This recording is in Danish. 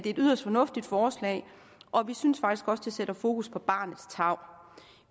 et yderst fornuftigt forslag og vi synes faktisk også det sætter fokus på barnets tarv